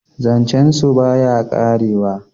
zancen su ba ya karewa